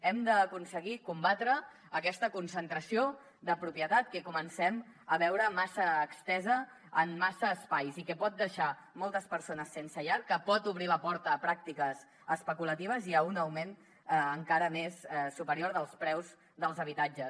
hem d’aconseguir combatre aquesta concentració de propietat que comencem a veure massa estesa en massa espais i que pot deixar moltes persones sense llar que pot obrir la porta a pràctiques especulatives i a un augment encara més superior dels preus dels habitatges